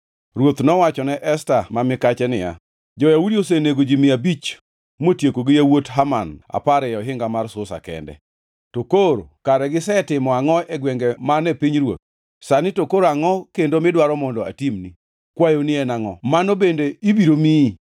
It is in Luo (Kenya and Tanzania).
Ruoth nowachone Esta ma mikache niya, “Jo-Yahudi osenego ji mia abich motieko gi yawuot Haman apar ei ohinga mar Susa kende. To koro kare gisetimo angʼo e gwenge man e pinyruoth? Sani to koro angʼo kendo midwaro mondo atimni? Kwayoni en angʼo? Mano bende ibiro miyi.”